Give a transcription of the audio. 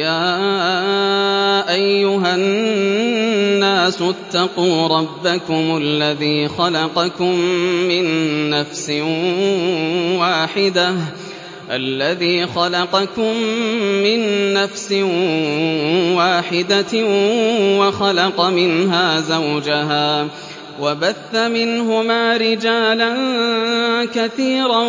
يَا أَيُّهَا النَّاسُ اتَّقُوا رَبَّكُمُ الَّذِي خَلَقَكُم مِّن نَّفْسٍ وَاحِدَةٍ وَخَلَقَ مِنْهَا زَوْجَهَا وَبَثَّ مِنْهُمَا رِجَالًا كَثِيرًا